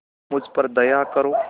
मुझ पर दया करो